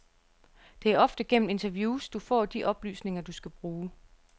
Det er ofte gennem interviews, du får de oplysninger, du skal bruge.